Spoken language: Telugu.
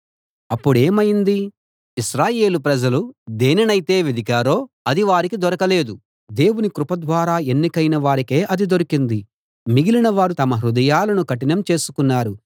అప్పుడేమైంది ఇశ్రాయేలు ప్రజలు దేనినైతే వెదికారో అది వారికి దొరకలేదు దేవుని కృప ద్వారా ఎన్నికైన వారికే అది దొరికింది మిగిలినవారు తమ హృదయాలను కఠినం చేసుకున్నారు